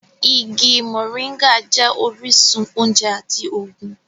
Igi moringa jẹ́ orísun oúnjẹ àti ògùn